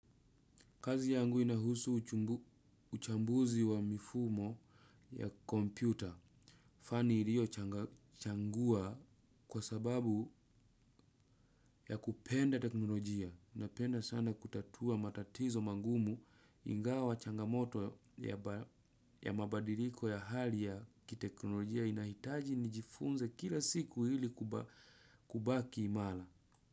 Kazi yangu inahusu uchambuzi wa mifumo ya kompyuta fani niliochagua kwa sbabu ya kupenda teknolojia. Napenda sana kutatua matatizo magumu ingawa changamoto ya mabadiliko ya hali ya kiteknolojia inahitaji nijifunze kila siku ili kubaki imara.